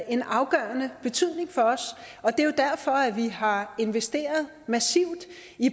en afgørende betydning for os og det er jo derfor at vi har investeret massivt